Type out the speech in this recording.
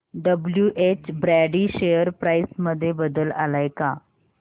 WH Brady share price मध्ये बदल आलाय का